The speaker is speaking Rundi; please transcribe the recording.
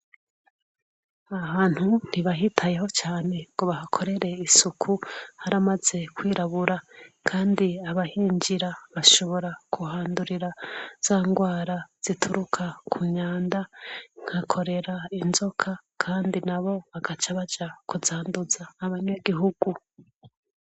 Ahantu ntibahitayeho cane ngo bahakorere isuku, haramaze kwirabura. Kandi abahinjira bashobora kuhandurira za ndwara zituruka ku myanda, nka korera, inzoka, kandi na bo bagaca baja kuzanduza abanyagihugu.